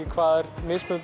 hvað er mismunandi